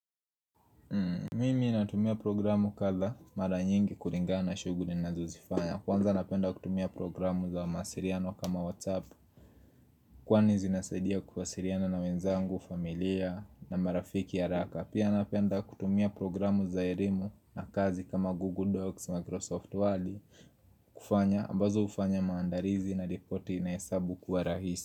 Mimi ninatumia programu kadhaa mara nyingi kulingana na shughuli ninazozifanya. Kwanza napenda kutumia programu za mawasiliano kama WhatsApp Kwani zinasaidia kuwasiliana na wenzangu, familia na marafiki haraka. Pia napenda kutumia programu za elimu na kazi kama Google Docs, Microsoft word kufanya, ambazo hufanya maandalizi na ripoti na hesabu kuwa rahisi.